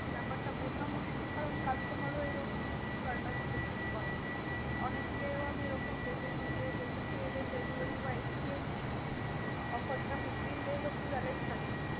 ব্যাপারটা বোঝা মুশকিল। কারণ customer ও এরকম শয়তানি প্রচুর করে। অনেককেও আমি এরকম দেখেছি যে delivery বা exchange offer টা fifteen days অব্দি valid থাকে।